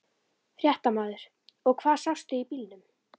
Fréttamaður: Og hvað sástu í bílnum?